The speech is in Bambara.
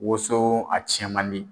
Woso a tiɲɛ man di.